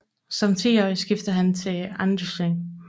Som tiårig skiftede han til Anderlecht